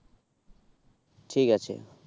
ঠিক আছে